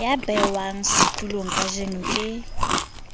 ya behwang setulong kajeno ke